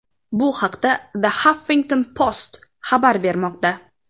Bu haqda The Huffington Post xabar bermoqda .